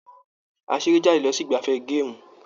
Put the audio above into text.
A seré jáde lọ sí igbafẹ̀ gaamu.